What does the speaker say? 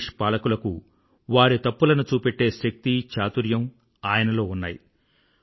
British పాలకులకు వారి తప్పులను చూపెట్టే శక్తి చాతుర్యం ఆయనలో ఉన్నాయి